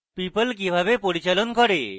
people কিভাবে পরিচালন করে